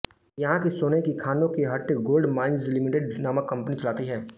यहाँ की सोने की खानों को हट्टी गोल्ड माइन्ज़ लिमिटेड नामक कम्पनी चलाती है